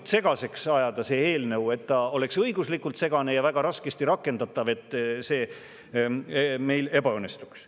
selle eelnõu õiguslikult võimalikult segaseks ajanud, et see oleks väga raskesti rakendatav ning et see meil ebaõnnestuks.